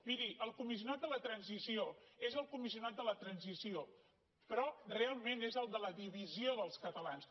miri el comissionat per a la transició és el comissionat per a la transició però realment és el de la divisió dels catalans